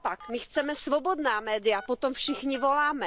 Naopak, my chceme svobodná média, po tom všichni voláme.